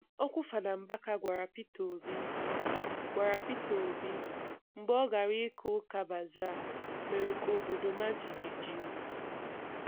Okwu Fada Mbaka gwara Peter Obi gwara Peter Obi mgbe ọ gara ịka ụka Bazaa mere ka obodo maa jijiji.